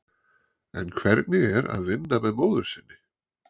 En hvernig er að vinna með móður sinni?